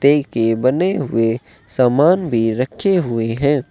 के बने हुए समान भी रखे हुए हैं।